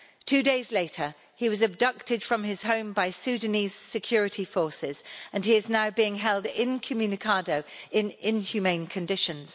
Two days later he was abducted from his home by Sudanese security forces and he is now being held incommunicado in inhumane conditions.